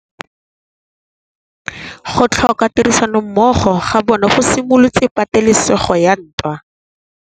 Go tlhoka tirsanommogo ga bone go simolotse patêlêsêgô ya ntwa.